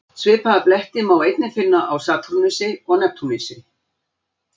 Svipaða bletti má einnig finna á Satúrnusi og Neptúnusi.